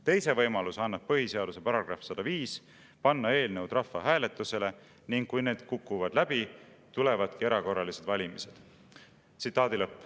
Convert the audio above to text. Teise võimaluse annab põhiseaduse paragrahv 105: panna eelnõud rahvahääletusele ning kui need läbi kukuvad, tulevadki erakorralised valimised.